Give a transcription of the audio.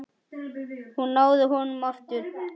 Hún náði honum aftur.